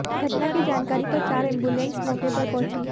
घटना की जानकारी पर चार एंबुलेंस मौके पर पहुंची